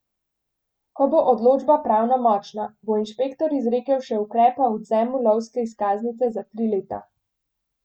Ko bo odločba pravnomočna, bo inšpektor izrekel še ukrep o odvzemu lovske izkaznice za tri leta.